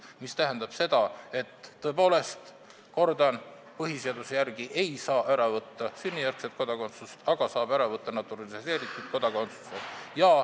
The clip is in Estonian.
See tähendab seda – kordan –, et põhiseaduse järgi ei saa tõepoolest ära võtta sünnijärgset kodakondsust, aga saab ära võtta naturaliseeritud kodakondsuse.